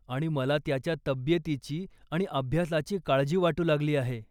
आणि मला त्याच्या तब्येतीची आणि अभ्यासाची काळजी वाटू लागली आहे.